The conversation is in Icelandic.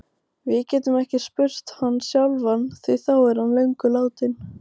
Við getum ekki spurt hann sjálfan því hann er löngu látinn.